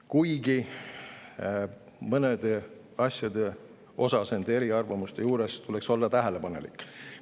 Kuigi mõnede asjade suhtes tuleks nende eriarvamuste puhul olla tähelepanelik.